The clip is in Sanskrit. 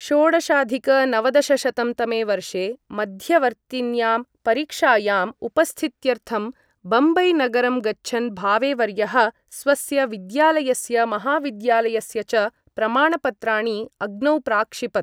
षोडशाधिक नवदशशतं तमे वर्षे मध्यवर्तिन्यां परीक्षायाम् उपस्थित्यर्थं बम्बई नगरं गच्छन् भावेवर्यः स्वस्य विद्यालयस्य महाविद्यालयस्य च प्रमाणपत्राणि अग्नौ प्राक्षिपत् ।